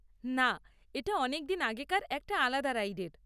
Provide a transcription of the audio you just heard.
না, এটা অনেক দিন আগেকার একটা আলাদা রাইডের।